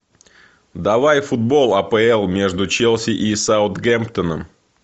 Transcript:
давай футбол апл между челси и саутгемптоном